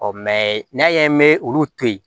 n'a ye olu to yen